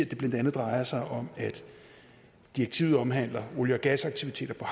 det blandt andet drejer sig om direktivet omhandler olie og gasaktiviteter på